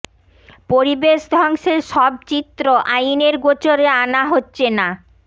পরিবেশ ধ্বংসের সব চিত্র আইনের গোচরে আনা হচ্ছে না